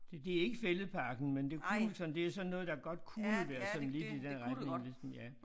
Det det ikke Fælledparken men det kunne sådan det sådan noget der godt kunne være sådan lidt i den retning hvis man ja